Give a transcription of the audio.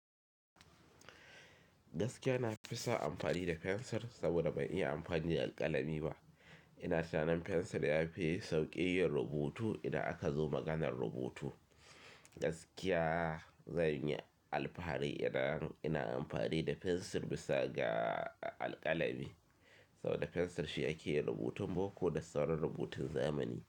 Gaskiya na fi son amfani da fensir saboda ban iya amfani da alƙalami ba. Ina tunanin fensir ya fi sauƙi yin rubutu idan aka zo maganar rubutu. Gaskiya zanyi alfahari idan ina amfani da fensir bisa ga alƙalami saboda fensir shi yake yin rubutun boko da sauran rubutun zamani.